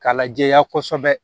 K'a lajɛya kɔsɛbɛ